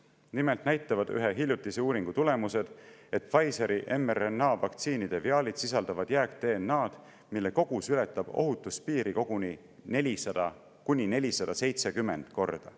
Nimelt näitavad ühe hiljutise uuringu tulemused, et Pfizeri mRNA-vaktsiinide viaalid sisaldavad jääk-DNA-d, mille kogus ületab ohutuspiiri koguni 400–470 korda.